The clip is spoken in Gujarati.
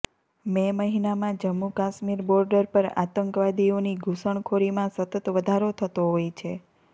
મે મહિનામાં જમ્મુ કાશ્મીર બોર્ડર પર આતંકવાદીઓની ઘુસણખોરીમાં સતત વધારો થતો હોય છે